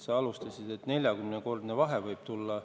Sa alustasid väitega, et 40-kordne vahe võib tulla.